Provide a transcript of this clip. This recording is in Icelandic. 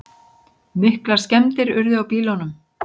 Miklar skemmdir urðu á bílunum.